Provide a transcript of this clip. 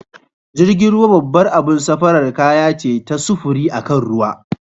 Jirgin ruwa babbar abun safara kaya ce ta sufuri akan ruwa.